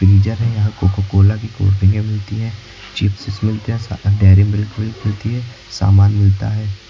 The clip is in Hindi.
फ्रीजर है यहां कोकोकोला की कोल्ड ड्रिंक मिलती हैं चिप्स मिलते हैं डेरीमिल्क मिलती है सामान मिलता है।